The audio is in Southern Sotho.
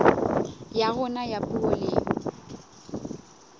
ya rona ya puo le